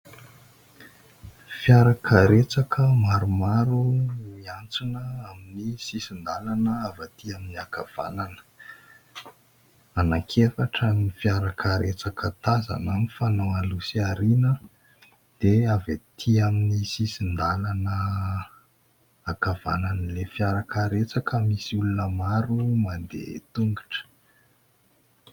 Fiarakaretsaka maromaro no miantsona amin'ny sisin-dalana avy aty amin'ny ankavanana. Anankiefatra ny fiarakaretsaka tazana mifanao aloha sy aoriana. Dia avy aty amin'ny sisin-dalana, ankavanan'ilay fiarakaretsaka, misy olona maro mandeha an-tongotra.